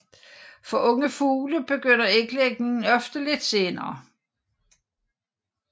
For unge fugle begynder æglægningen ofte lidt senere